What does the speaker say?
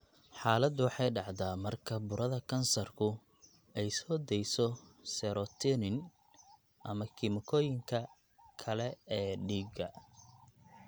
Xaaladdu waxay dhacdaa marka burada kansarku ay soo dayso serotonin ama kiimikooyinka kale ee dhiigga.